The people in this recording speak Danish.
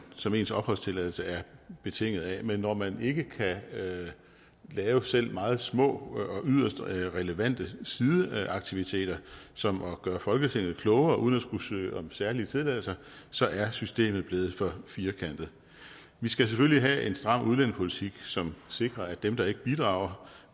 som ens opholdstilladelse er betinget af men når man ikke kan lave selv meget små og yderst relevante sideaktiviteter som at gøre folketinget klogere uden at skulle søge om særlige tilladelser så er systemet blevet for firkantet vi skal selvfølgelig have en stram udlændingepolitik som sikrer at dem der ikke bidrager